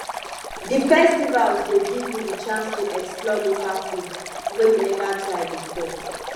di festivals go give you di chance to explore local food wey you never try before